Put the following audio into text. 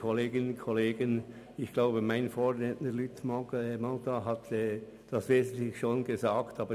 Ich glaube, dass mein Vorredner Grossrat Mentha das Wesentliche schon gesagt hat.